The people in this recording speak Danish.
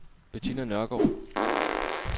Bettina Nørgaard